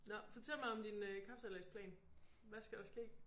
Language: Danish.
Nå. Fortæl mig om din øh kapsejladsplan. Hvad skal der ske?